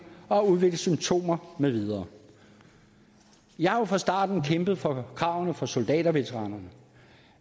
og har udviklet symptomer med videre jeg har fra starten kæmpet for kravene for soldaterveteranerne